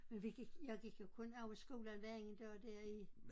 Men vi gik jeg gik jo kun over skolen hver anden dag der i